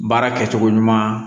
Baara kɛcogo ɲuman